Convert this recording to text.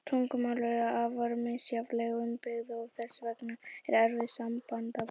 Tungumál eru afar misjafnlega upp byggð og þess vegna erfið samanburðar.